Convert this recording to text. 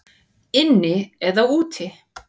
Inni eða úti?